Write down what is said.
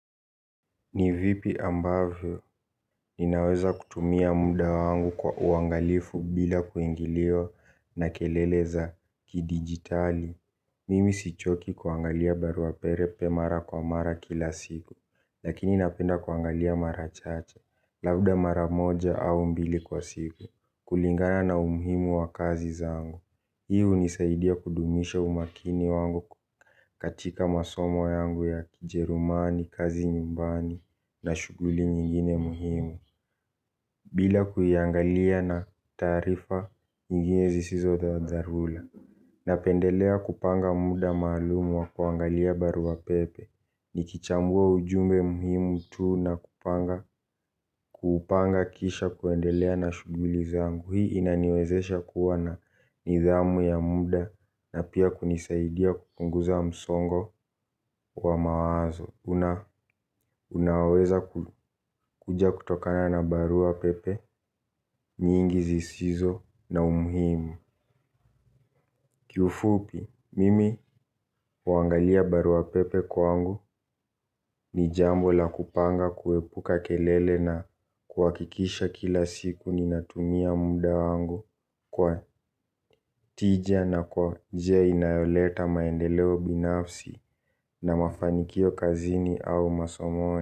Ni vipi ambavyo ninaweza kutumia muda wangu kwa uangalifu bila kuingiliwa na kelele za kidigitali. Mimi sichoki kuangalia barua pepe mara kwa mara kila siku lakini napenda kuangalia mara chache labda mara moja au mbili kwa siku kulingana na umuhimu wa kazi zangu. Hii unisaidia kudumisha umakini wangu katika masomo yangu ya kijerumani kazi nyumbani na shughuli nyingine muhimu. Bila kuiangalia na taarifa nyingine zisizo za dharura napendelea kupanga muda maalum wa kuangalia barua pepe. Nikichambua ujumbe muhimu tu na kupanga kisha kuendelea na shughuli zangu. Hii inaniwezesha kuwa na nidhamu ya muda na pia kunisaidia kupunguza msongo wa mawazo unaoweza kuja kutokana na barua pepe nyingi zisizo na umuhimu. Kiufupi, mimi huangalia barua pepe kwangu ni jambo la kupanga kuepuka kelele na kuhakikisha kila siku ninatumia muda wangu kwa tija na kwa njia inayoleta maendeleo binafsi na mafanikio kazini au masomoni.